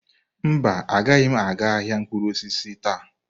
Mba, agaghị m aga ahịa mkpụrụ osisi taa.